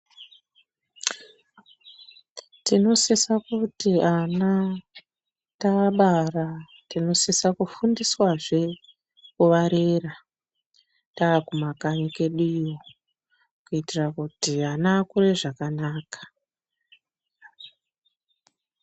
Tinosisa kuti ana vacho tavabara tinosisa kufundiswa zve kuvarera taakuma kanyi kwedu iyo kuitira kuti ana akure zvakanaka